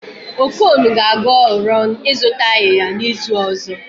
Okon ga-aga Ọrọn ịzụta ayịya n'izu ọzọ